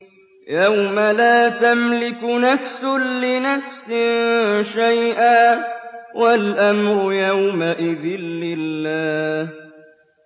يَوْمَ لَا تَمْلِكُ نَفْسٌ لِّنَفْسٍ شَيْئًا ۖ وَالْأَمْرُ يَوْمَئِذٍ لِّلَّهِ